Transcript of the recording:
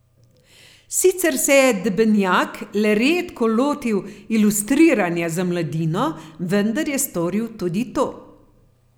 Sicer se je Debenjak le redko lotil ilustriranja za mladino, vendar je storil tudi to.